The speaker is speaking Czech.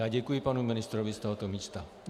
Já děkuji panu ministrovi z tohoto místa.